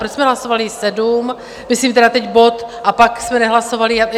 Proč jsme hlasovali sedm, myslím tedy teď bod, a pak jsme nehlasovali...?